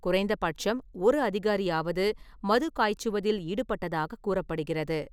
குறைந்த பட்சம் ஒரு அதிகாரியாவது மது காய்ச்சுவதில் ஈடுபட்டதாக கூறப்படுகிறது.